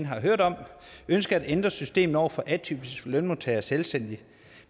har hørt om ønskede at ændre systemet over for atypiske lønmodtagere og selvstændige